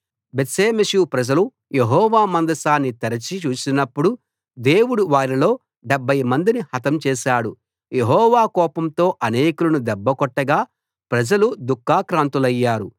బేత్షెమెషు ప్రజలు యెహోవా మందసాన్ని తెరచి చూసినప్పుడు దేవుడు వారిలో 70 మందిని హతం చేశాడు యెహోవా కోపంతో అనేకులను దెబ్బ కొట్టగా ప్రజలు దుఃఖాక్రాంతులయ్యారు